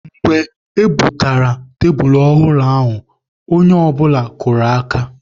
Mgbe e bubatara tebulu ọhụrụ ndị ahụ, onye ọbụla kụrụ aka.